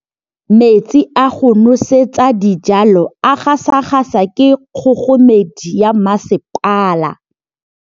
Metsi a go nosetsa dijalo a gasa gasa ke kgogomedi ya masepala.